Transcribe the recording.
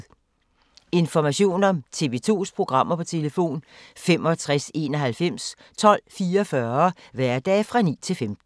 Information om TV 2's programmer: 65 91 12 44, hverdage 9-15.